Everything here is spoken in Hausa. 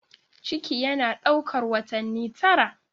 Ciki yana ɗaukar watanni tara.